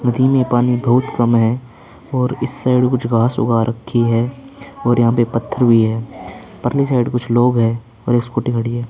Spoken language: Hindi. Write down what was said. नदी में पानी बहुत कम है और इस साईड कुछ घास ऊगा रखी है और यहां पे पत्थर भी हैं परली साईड कुछ लोग हैं और एक स्कूटी खड़ी है।